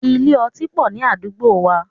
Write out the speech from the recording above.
Ilé otí pọ̀ ní àdúgbò wa.